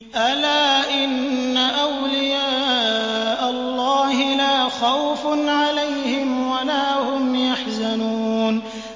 أَلَا إِنَّ أَوْلِيَاءَ اللَّهِ لَا خَوْفٌ عَلَيْهِمْ وَلَا هُمْ يَحْزَنُونَ